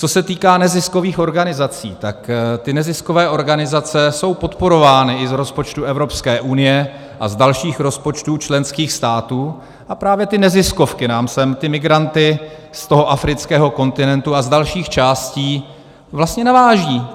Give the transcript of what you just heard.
Co se týká neziskových organizací, tak ty neziskové organizace jsou podporovány i z rozpočtu Evropské unie a z dalších rozpočtů členských států, a právě ty neziskovky nám sem ty migranty z toho afrického kontinentu a z dalších částí vlastně navážejí.